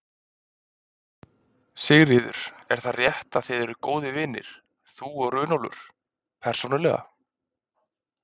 Sigríður: Er það rétt að þið eruð góðir vinir, þú og Runólfur, persónulega?